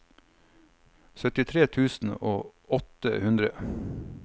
syttitre tusen og åtte hundre